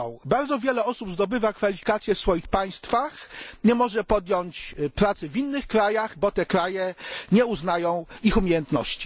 Bardzo wiele osób zdobywa kwalifikacje w swoich państwach i nie może podjąć pracy w innych krajach, bo te kraje nie uznają ich umiejętności.